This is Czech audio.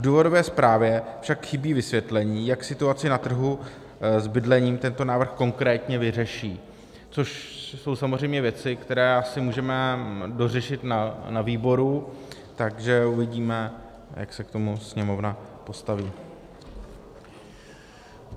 V důvodové zprávě však chybí vysvětlení, jak situaci na trhu s bydlením tento návrh konkrétně vyřeší, což jsou samozřejmě věci, které asi můžeme dořešit na výboru, takže uvidíme, jak se k tomu Sněmovna postaví.